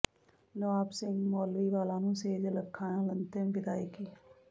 ਨਵਾਬ ਸਿੰਘ ਮੌਲਵੀਵਾਲਾ ਨੂੰ ਸੇਜਲ ਅੱਖਾਂ ਨਾਲ ਅੰਤਿਮ ਵਿਦਾਇਗੀ